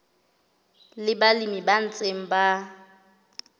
le balemi ba ntseng ba